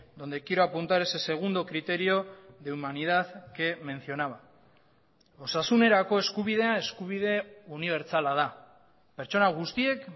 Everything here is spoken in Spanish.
donde quiero apuntar ese segundo criterio de humanidad que mencionaba osasunerako eskubidea eskubide unibertsala da pertsona guztiek